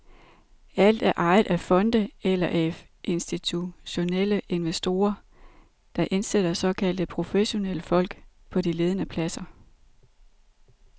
Alt er ejet af fonde eller af institutionelle investorer, der indsætter såkaldte professionelle folk på de ledende pladser.